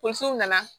Tonso nana